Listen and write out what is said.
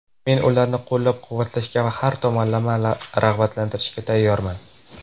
Men ularni qo‘llab-quvvatlashga va har tomonlama rag‘batlantirishga tayyorman.